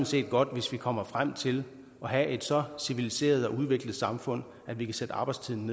set godt hvis vi kommer frem til at have et så civiliseret og udviklet samfund at vi kan sætte arbejdstiden